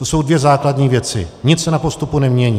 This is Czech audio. To jsou dvě základní věci, nic se na postupu nemění.